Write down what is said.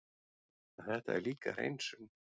En þetta er líka hreinsun.